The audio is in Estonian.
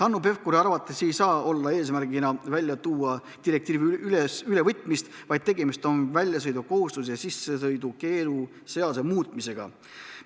Hanno Pevkuri arvates ei saa eesmärgina välja tuua direktiivi ülevõtmist, tegemist on väljasõidukohustuse ja sissesõidukeelu seaduse muutmisega.